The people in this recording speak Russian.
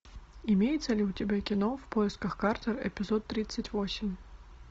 имеется ли у тебя кино в поисках картера эпизод тридцать восемь